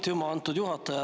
Aitüma, juhataja!